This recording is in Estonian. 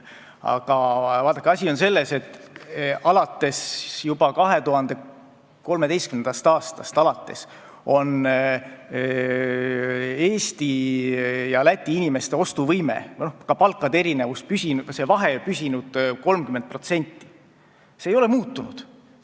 Aga vaadake, asi on selles, et alates juba 2013. aastast on Eesti ja Läti inimeste ostuvõime ja ka palkade vahe püsinud 30%-l, see ei ole muutunud.